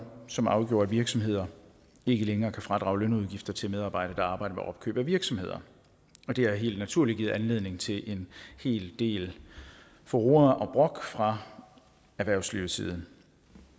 som afgjorde at virksomheder ikke længere kan fradrage lønudgifter til medarbejdere der arbejder med opkøb af virksomheder og det har helt naturligt givet anledning til en hel del furore og brok fra erhvervslivets side